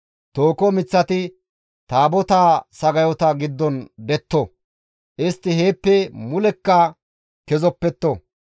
Tooho miththati Taabotaa sagayota giddon detto; istti heeppe mulekka kezopetto.